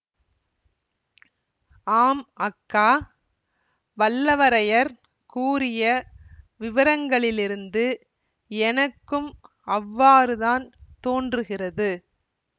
ஆம் அக்கா வல்லவரையர் கூறிய விவரங்களிலிருந்து எனக்கும் அவ்வாறுதான் தோன்றுகிறது